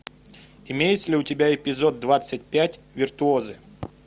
имеется ли у тебя эпизод двадцать пять виртуозы